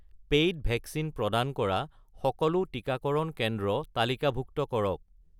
paid vaccine প্ৰদান কৰা সকলো টিকাকৰণ কেন্দ্ৰ তালিকাভুক্ত কৰক